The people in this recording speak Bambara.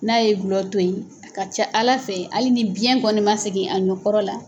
N'a ye gulɔ to ye a ka ca Ala fɛ hali ni biyɛn kɔni man segin a nɔ kɔrɔ la